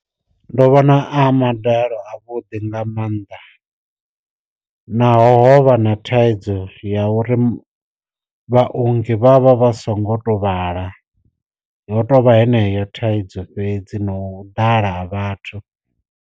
Ndo vhona a madalo a vhuḓi nga mannḓa, naho ho vha na thaidzo ya uri vha ongi vhavha vha songo to vhala ho tovha heneyo thaidzo fhedzi no ḓala ha vhathu.